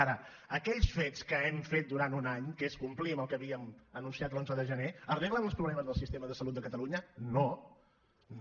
ara aquells fets que hem fet durant un any que és complir amb el que havíem anunciat l’onze de gener arreglen els problemes del sistema de salut de catalunya no no